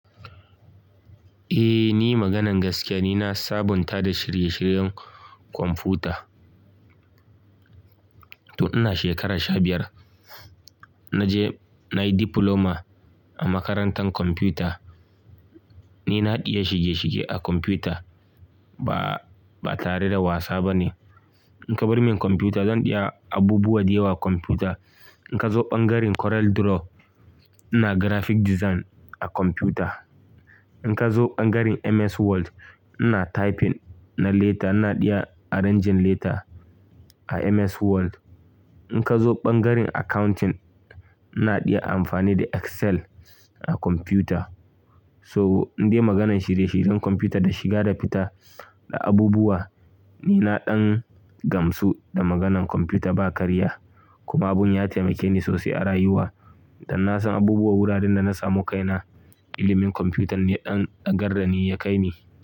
Eh, ni maganan gaskiya ni na saba da shirye-shiryen kwamfuta. Tun ina shekara sha biyar naje nayi diploma a makarantar kwamfuta. Ni iya shige-shige a kwamfuta, ba tare da wasa ba ne. In ka bar min kwamfuta zan iya abubuwa da yawa a kwamfuta. In ka zo ɓangaren CorelDRAW ina graphic design a kwamfuta. In ka zo ɓangaren MS Word ina typing na letter, ina iya arranging letter a MS Word. In ka zo ɓangaren accounting ina iya amfani da Excel a kwamfuta. So, in dai maganan shirye-shiryen kwamfuta da shiga da fita da abubuwa ni naɗan gamsu da maganan kwamfuta ba karya. Kuma abun ya taimake ni sosai a rayuwa dan na san abubuwa wuraren da na samu kaina ilimin kwamfutan ne ya ɗan ɗagardani ya kai ni.